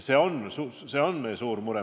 See on meie suur mure.